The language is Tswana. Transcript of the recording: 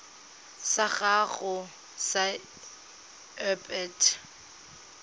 sa gago sa irp it